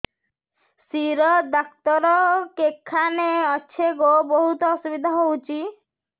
ଶିର doctor କେଖାନେ ଅଛେ ଗୋ ବହୁତ୍ ଅସୁବିଧା ହଉଚି